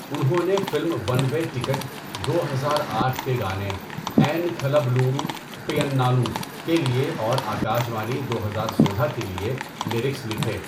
انہوں نے film one way ticket دو ہزار آٹھ کے گانے 'این کھلبللورو پینّانو' کے لیے اور آکاش وانی دو ہزار سولہ کے لیے لیرکس لکھے۔